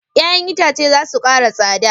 Ya'yan itace za su kara tsada.